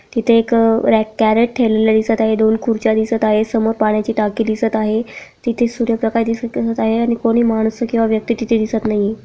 तिथे एक rack crate ठेवलेलं दिसत आहे दोन खुर्च्या दिसत आहे समोर पाण्याची टाकी दिसत आहे. तिथे सूर्यप्रकाश दिसत आहे आणि कोणी माणसं व्यक्ती तिथे दिसत नाहीये.